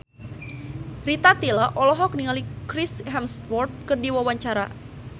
Rita Tila olohok ningali Chris Hemsworth keur diwawancara